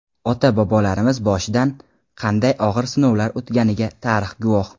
Ota-bobolarimiz boshidan qanday og‘ir sinovlar o‘tganiga tarix guvoh.